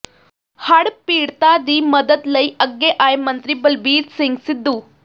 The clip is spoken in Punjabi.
ਹੜ੍ਹ ਪੀੜਤਾਂ ਦੀ ਮਦਦ ਲਈ ਅੱਗੇ ਆਏ ਮੰਤਰੀ ਬਲਬੀਰ ਸਿੰਘ ਸਿੱਧੂ